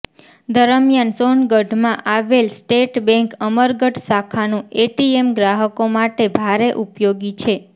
દરમિયાન સોનગઢમાં આવેલ સ્ટેટ બેન્ક અમરગઢ શાખાનુ એટીએમ ગ્રાહકો માટે ભારે ઉપયોગી છે